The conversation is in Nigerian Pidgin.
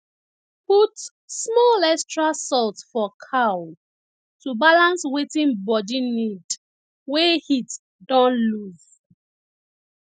put small extra salt for cow to balance wetin body need wey heat don lose